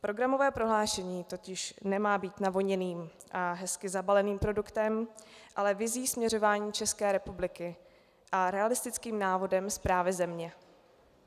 Programové prohlášení totiž nemá být navoněným a hezky zabaleným produktem, ale vizí směřování České republiky a realistickým návodem správy země.